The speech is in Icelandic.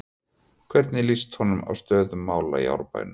Hvernig lýst honum á stöðu mála í Árbænum?